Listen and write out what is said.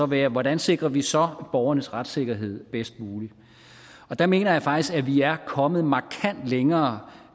være hvordan sikrer vi så borgernes retssikkerhed bedst muligt der mener jeg faktisk at vi er kommet markant længere